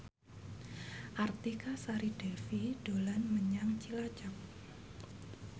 Artika Sari Devi dolan menyang Cilacap